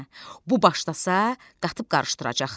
Hə, bu başlasa, qatıb-qarışdıracaqdı.